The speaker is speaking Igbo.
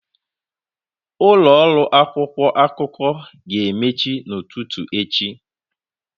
Ụlọ ọrụ akwụkwọ akụkọ ga-emechi n'ụtụtụ echi.